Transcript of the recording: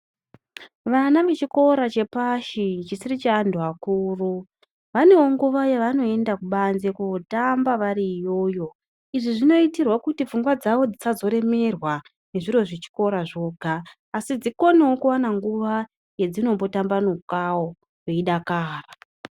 Vana vechikora chepashi chisiri chevantu vakuru vanewo nguwa yavanoenda kubanze kotamba variyoyo izvi zvinoitwa kuti pfungwa dzawo dzisazoremerwa nezviro zvechikora dzoga asi dziwanewo nguwa yazvinombotambanukawo yeidakara.